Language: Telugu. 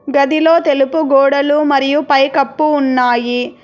గదిలో తెలుపు గోడలు మరియు పైకప్పు ఉన్నాయి.